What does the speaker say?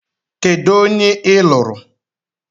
Kedụ onye ị lụrụ?